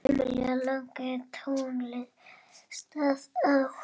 Emil lagði tólið á.